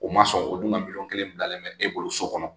U ma sɔn ,u dun ka miliyɔn kelen bilalen bɛ e bolo so kɔnɔ?